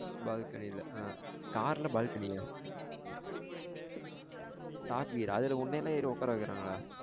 Balcony ல ஆஹ் car ல balcony ஆ top gear ஆ அதுல உன்னயெல்லாம் ஏறி உக்கார வைக்ராங்களா?